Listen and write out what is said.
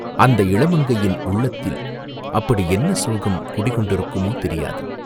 அந்த இளமங்கையின் உள்ளத்தில் அப்படி என்ன சோகம் குடி கொண்டிருக்குமோ, தெரியாது!